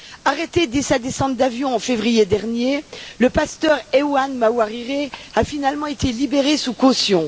Arrêté dès sa descente d'avion en février dernier, le pasteur Evan Mawarire a finalement été libéré sous caution.